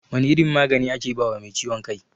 Wane irin magani ake bawa mai ciwon kai?